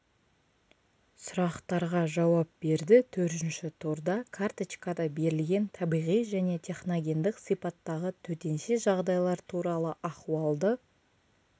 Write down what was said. сұрақтарға жауап берді төртінші турда карточкада берілген табиғи және техногендік сипаттағы төтенше жағдайлар туралы ахуалды